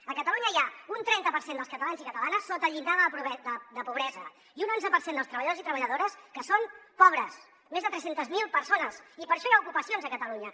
a catalunya hi ha un trenta per cent dels catalans i catalanes sota el llindar de la pobresa i un onze per cent dels treballadors i treballadores que són pobres més de tres cents miler persones i per això hi ha ocupacions a catalunya